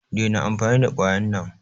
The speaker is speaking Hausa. Daina amfani da kwayan nan!